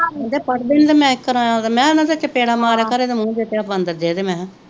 ਕਹਿੰਦੇ ਪੜਦੇ ਨਹੀਂ ਤੇ ਮੈ ਕੀ ਕਰਾ ਮੈ ਕਿਹਾ ਇਹਨਾਂ ਦੇ ਚਪੇੜਾਂ ਮਾਰਿਆ ਕਰ ਇਹ ਦੇ ਮੂੰਹ ਦੇ ਉੱਤੇ ਆ ਬਾਂਦਰ ਜਹੇ ਦੇ ਮੈ ਕਹਿਆ